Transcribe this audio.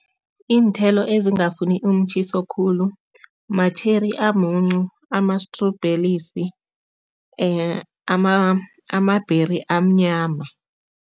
Iinthelo ezingafuni umtjhiso khulu, ma-cherry amuncu, amastrobhelisi, amabheri amnyama.